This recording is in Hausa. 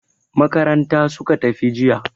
Makaranta suka tafi jiya.